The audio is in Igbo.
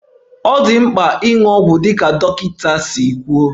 Ọ dị mkpa ịṅụ ọgwụ dịka dọkịta si kwuo